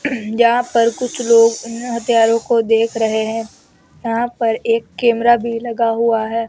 यहां पर कुछ लोग हथियारों को देख रहे है यहां पर एक कैमरा भी लगा हुआ है।